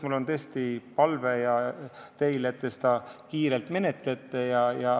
Mul on tõesti teile palve, et te seda kiirelt menetleksite.